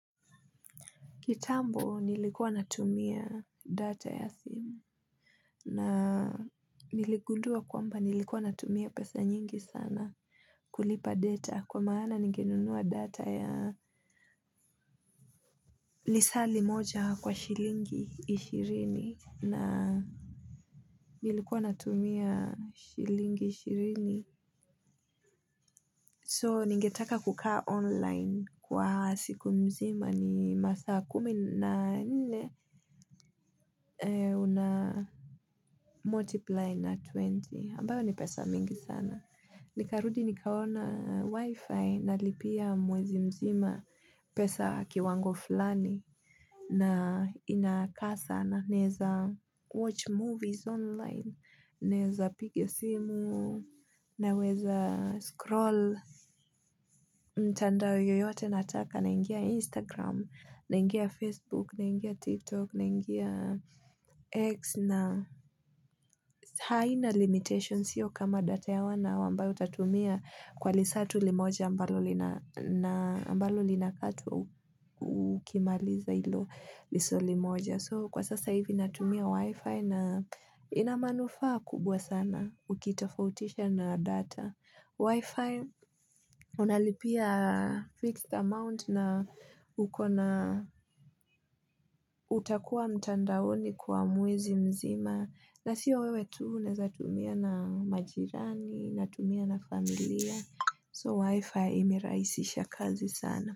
Kitambo nilikuwa natumia data ya simu na niligundua kwamba nilikuwa natumia pesa nyingi sana kulipa data kwa maana ningenunua data ya Lisali moja kwa shilingi ishirini na Nilikuwa natumia shilingi ishirini So ningetaka kukaa online kwa siku mzima ni masaa kumi na nne una multiply na 20 ambayo ni pesa mingi sana nikarudi nikaona wifi na lipia mwezi mzima pesa kiwango flani na inakasa na neza watch movies online neza pigi simu na weza scroll mtandao yoyote nataka na ingia instagram na ingia facebook na ingia tiktok na ingia x na haina limitations hiyo kama data ya one hour ambayo utatumia kwa lisatu limoja mbalo linakatu ukimaliza ilo lisali moja. So kwa sasa hivi natumia wifi na inamanufa kubwa sana ukitafautisha na data. Wi-Fi, unalipia fixed amount na utakua mtandaoni kwa mwezi mzima. Na siyo wewe tu, unaeza tumia na majirani, natumia na familia. So, Wi-Fi imeraisisha kazi sana.